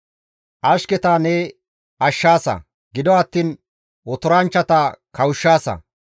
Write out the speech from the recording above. Ashketa ne ashshaasa; gido attiin otoranchchata kawushshaasa.